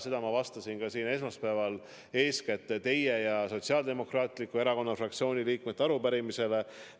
Seda ma ütlesin siin ka esmaspäeval eeskätt teie ja Sotsiaaldemokraatliku Erakonna fraktsiooni liikmete arupärimisele vastates.